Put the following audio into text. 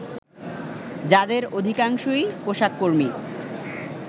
যাদের অধিকাংশই পোশাক কর্মী